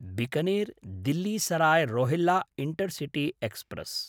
Bikaner Delhi Sarai Rohilla intercity express